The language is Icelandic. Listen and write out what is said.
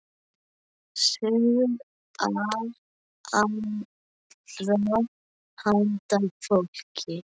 Sögur af allra handa fólki.